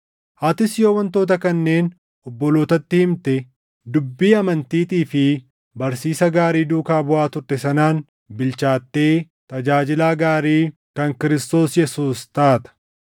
Atis yoo wantoota kanneen obbolootatti himte, dubbii amantiitii fi barsiisa gaarii duukaa buʼaa turte sanaan bilchaattee tajaajilaa gaarii kan Kiristoos Yesuus taata.